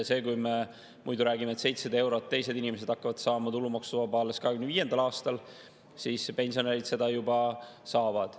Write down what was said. Kui me muidu räägime, et teised inimesed hakkavad 700 eurot saama tulumaksuvabalt alles 2025. aastal, siis pensionärid seda juba saavad.